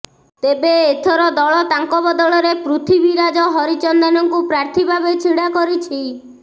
ତେବେ ଏଥର ଦଳ ତାଙ୍କ ବଦଳରେ ପୃଥିବୀରାଜ ହରିଚନ୍ଦନଙ୍କୁ ପ୍ରାର୍ଥୀ ଭାବେ ଛିଡ଼ା କରିଛି